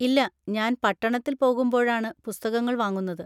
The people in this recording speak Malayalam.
ഇല്ല, ഞാൻ പട്ടണത്തിൽ പോകുമ്പോഴാണ് പുസ്തകങ്ങൾ വാങ്ങുന്നത്.